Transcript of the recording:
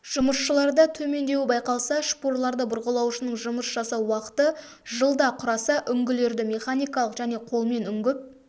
жұмысшыларда төмендеуі байқалса шпурларды бұрғылаушының жұмыс жасау уақыты жылда құраса үңгілерді механикалық және колмен үңгіп